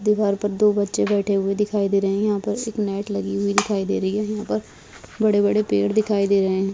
दीवार पर दो बच्चे बैठे हुए दिखाई दे रहे हैं| यहाँ पर से एक नेट लगी हुई दिखाई दे रही है| यहाँ पर बड़े-बड़े पेड़ दिखाई दे रहे हैं|